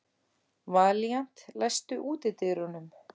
Valíant, læstu útidyrunum.